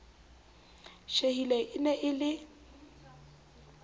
tjhehile e ne e le